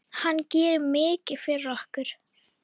Hann gerir mikið fyrir okkur.